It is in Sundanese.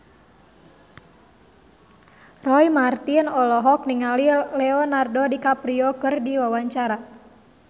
Roy Marten olohok ningali Leonardo DiCaprio keur diwawancara